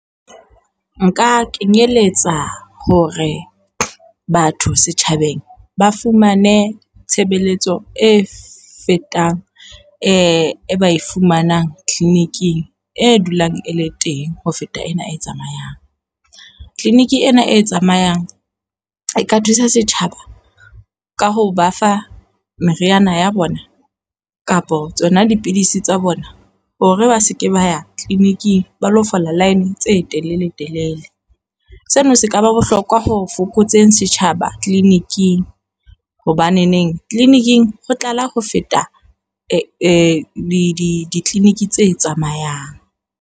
Nka kenyeletsa hore batho setjhabeng ba fumane tshebeletso e fetang e ba fumanang clinic-ing e dulang e le teng ho feta ena e tsamayang. Clinic ena e tsamayang e ka thusa setjhaba ka ho ba fa meriana ya bona kapa tsona dipidisi tsa bona hore ba se ke ba ya clinic-ing ba lo fola line tse telele telele. Sena se ka ba bohlokwa ho fokotseng setjhaba clinic-ing hobaneneng clinic-ing ho tlala ho feta di-clinic tse tsamayang.